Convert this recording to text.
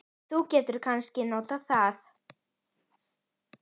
Þú getur kannski notað það.